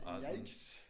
Yikes!